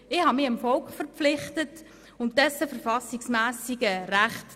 Ich habe mich dem Volk verpflichtet und dessen verfassungsmässigen Rechten.